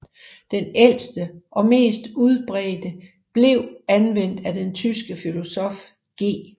Den ældste og mest udbredte blev anvendt af den tyske filosof G